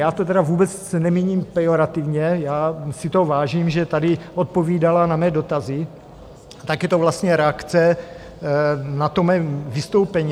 Já to tedy vůbec nemíním pejorativně, já si toho vážím, že tady odpovídala na mé dotazy, tak je to vlastně reakce na to mé vystoupení.